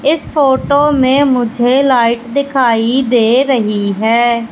इस फोटो मे मुझे लाइट दिखाई दे रही है।